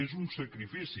és un sacrifici